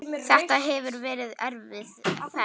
Þetta hefur verið erfið ferð.